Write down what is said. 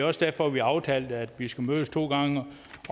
også derfor vi har aftalt at vi skal mødes to gange